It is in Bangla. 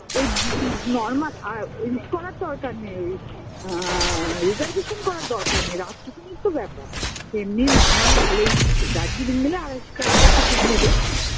ওই যদি Normal আর করার দরকার নেই ওই আআ Reservation করার দরকার নেই রাত টুকুনির তো ব্যাপার এমনি Normal ভালই থাকে দার্জিলিং মেল এ আড়াইশো টাকা করে Ticket নেবে